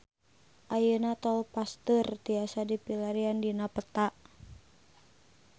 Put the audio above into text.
Ayeuna Tol Pasteur tiasa dipilarian dina peta